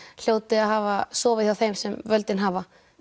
hljóti að hafa sofið hjá þeim sem völdin hafa